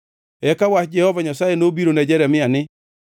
Eka wach Jehova Nyasaye nobiro ne Jeremia ni,